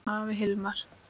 Afi Hilmar.